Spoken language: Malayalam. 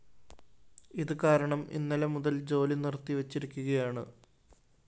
ഇത്കാരണം ഇന്നലെ മുതല്‍ ജോലിനിര്‍ത്തിവെച്ചിരിക്കുകയാണ്